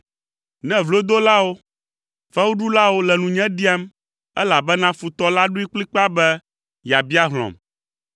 ne vlodolawo, fewuɖulawo le nunye ɖiam, elabena futɔ la ɖoe kplikpaa be yeabia hlɔ̃m.